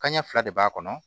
Kan ɲɛ fila de b'a kɔnɔ